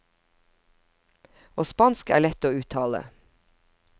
Og spansk er lett å uttale.